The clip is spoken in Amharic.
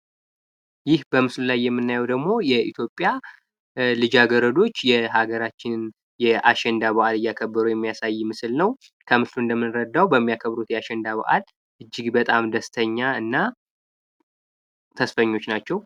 ይህ በምስሉ ላይ የምናየው ደግሞ የኢትዮጵያ ልጃገረዶች የሀገራችን የአሸንዳ በዓል እየከበሩ የሚያሳይ ምስል ነው። ከምስሉ እንደሚረዳው በሚያከብሩት የአሸንዳ በአል እጅግ በጣም ደስተኛ እና ተስፈኞች ናቸው።